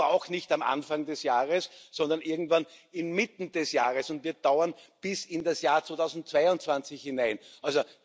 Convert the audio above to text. Die beginnt aber auch nicht am Anfang des Jahres, sondern irgendwann inmitten des Jahres und wird bis in das Jahr 2022 hinein dauern.